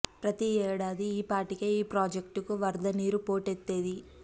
ప్రతి ఏడాది ఈ పాటికే ఈ ప్రాజెక్టుకు వరద నీరు పోటెత్తేది